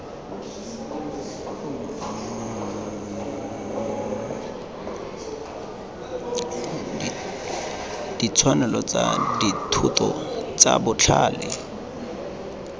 ditshwanelo tsa dithoto tsa botlhale